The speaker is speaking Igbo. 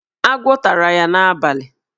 Agwọ tara ya n'abalị.